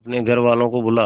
अपने घर वालों को बुला